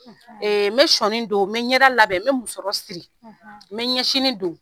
Ee n bɛ sɔnin don n bɛ ɲɛda labɛn n bɛ musɔrɔ siri n bɛ ɲɛsinin don